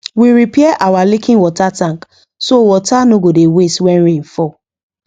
we repair our leaking water tank so water no go dey waste when rain fall